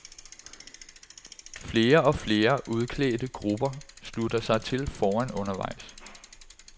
Flere og flere udklædte grupper slutter sig til foran undervejs.